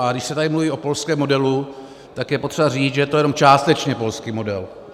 A když se tady mluví o polském modelu, tak je potřeba říct, že je to jenom částečně polský model.